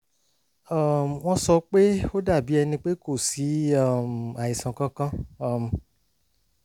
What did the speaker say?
um wọ́n sọ pé ó dàbí ẹni pé kò sí um àìsàn kankan um